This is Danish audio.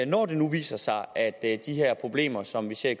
når det nu viser sig at at de her problemer som vi ser i